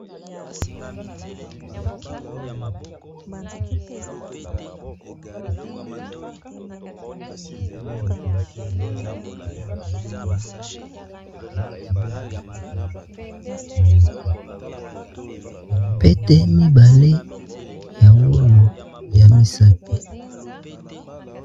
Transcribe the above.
pete mibale ya walo ya misapi